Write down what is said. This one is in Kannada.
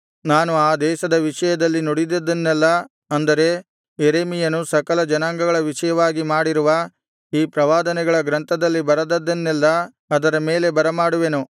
ನಾನು ಆ ದೇಶದ ವಿಷಯದಲ್ಲಿ ನುಡಿದದ್ದನ್ನೆಲ್ಲಾ ಅಂದರೆ ಯೆರೆಮೀಯನು ಸಕಲ ಜನಾಂಗಗಳ ವಿಷಯವಾಗಿ ಮಾಡಿರುವ ಈ ಪ್ರವಾದನೆಗಳ ಗ್ರಂಥದಲ್ಲಿ ಬರೆದದ್ದನ್ನೆಲ್ಲಾ ಅದರ ಮೇಲೆ ಬರಮಾಡುವೆನು